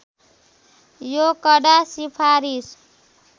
यो कडा सिफारिस